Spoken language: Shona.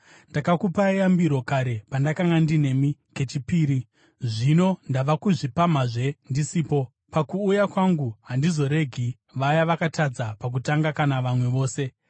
Ndakakupai yambiro kare pandakanga ndinemi kechipiri. Zvino ndava kuzvipamhazve ndisipo: Pakuuya kwangu handizoregi vaya vakatadza pakutanga kana vamwe vose,